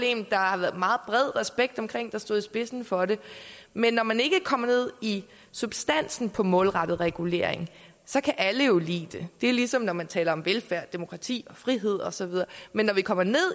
en der har været meget bred respekt omkring der stod i spidsen for det men når man ikke kommer ned i substansen på målrettet regulering så kan alle jo lide det det er ligesom når man taler om velfærd demokrati og frihed og så videre men når vi kommer ned